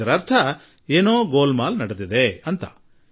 ಇದರ ಅರ್ಥ ಏನೋ ಮುಚ್ಚುಮರೆ ಉಂಟಾಗಿದೆ ಎಂದು ತಿಳಿಯುತ್ತದೆ